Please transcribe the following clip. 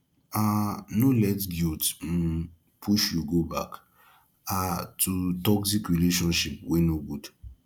um no let guilt um push you go back um to toxic relationship wey no good